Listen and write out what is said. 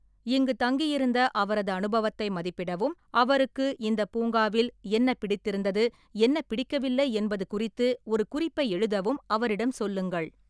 இங்கு தங்கியிருந்த அவரது அனுபவத்தை மதிப்பிடவும் அவருக்கு இந்தப் பூங்காவில் என்ன பிடித்திருந்தது என்ன பிடிக்கவில்லை என்பது குறித்து ஒரு குறிப்பை எழுதவும் அவரிடம் சொல்லுங்கள்.